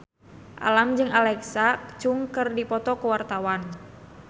Alam jeung Alexa Chung keur dipoto ku wartawan